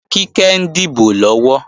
Kíkẹ́ ń dìbò lọ́wọ́